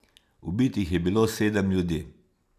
Ubitih je bilo sedem ljudi.